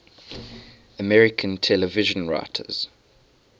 american television writers